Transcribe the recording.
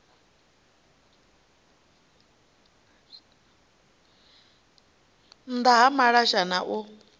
nnda ha malasha na u